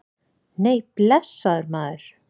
Nei, blessaður, maður.